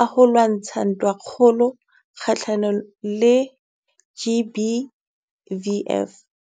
a ho lwantsha ntwa kga-hlanong le GBVF.